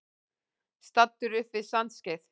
Staddur upp við Sandskeið.